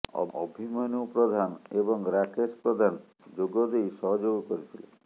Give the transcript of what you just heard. ଅଭିମନ୍ୟୁ ପ୍ରଧାନ ଏବଂ ରାକେଶ ପ୍ରଧାନ ଯୋଗଦେଇ ସହଯୋଗ କରିଥିଲେ